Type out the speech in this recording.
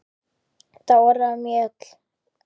Dóra Mjöll.